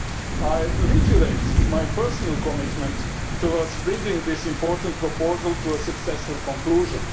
I reiterate my personal commitment to bringing this important proposal to a successful conclusion.